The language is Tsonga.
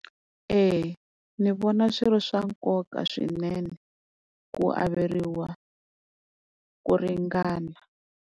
Eya ni vona swi ri swa nkoka swinene ku averiwa ku ringana.